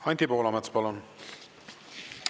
Anti Poolamets, palun!